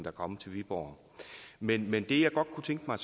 er kommet til viborg men det jeg godt kunne tænke mig